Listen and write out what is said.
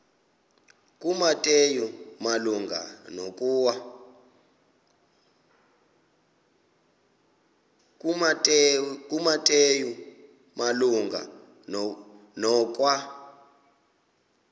kumateyu malunga nokwa